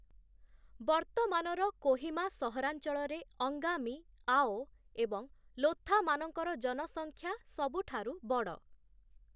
ବର୍ତ୍ତମାନର କୋହିମା ସହରାଞ୍ଚଳରେ ଅଙ୍ଗାମୀ, ଆଓ ଏବଂ ଲୋଥାମାନଙ୍କର ଜନସଂଖ୍ୟା ସବୁଠାରୁ ବଡ଼ ।